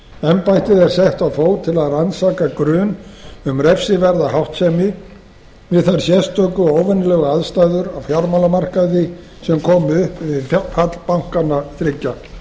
embættið er sett á fót til að rannsaka grun um refsiverða háttsemi við þær sérstöku og óvenjulegu aðstæður á fjármálamarkaði sem komu upp við fall bankanna þriggja